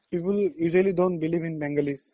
people usually don't believe in bengalis